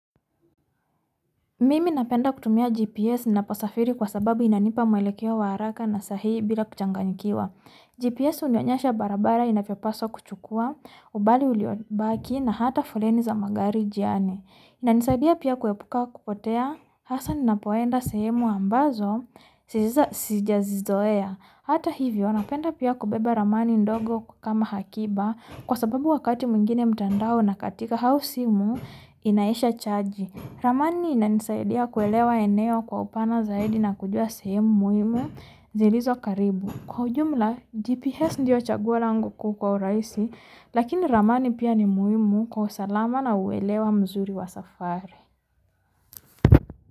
Mimi napenda kutumia GPS na pasafiri kwa sababu inanipa mailekewa wa haraka na sahihi bila kuchanganyikiwa. GPS unionyesha barabara inapipaswa kuchukua, ubali ulio baki na hata foleni za magari jiani. Inanisaidia piya kuwepuka kupotea, hasa ninapoenda sehemu ambazo si jazizoea. Hata hivo penda piya kubeba Ramani ndogo kama hakiba kwa sababu wakati mwingine mtandao na katika hau simu inaisha chaji. Ramani inanisaidiya kuwelewa eneo kwa upana zaidi na kujiwa sehemu muhmu zilizo karibu. Kujumla GPS ndio chaguwa langu kuu kwa uraisi, lakini Ramani piya ni muhimu kwa usalama na uwelewa mzuri wa safari.